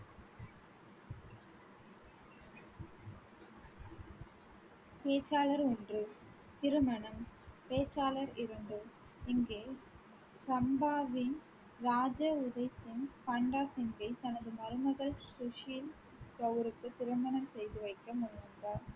பேச்சாளர் ஒன்று. திருமணம் பேச்சாளர் இரண்டு இங்கே சம்பாவின் பண்டா சிங்கை தனது மருமகள் சுஷீல் கவுருக்கு திருமணம் செய்து வைக்க முயன்றார்